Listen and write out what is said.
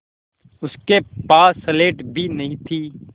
उसके पास स्लेट भी नहीं थी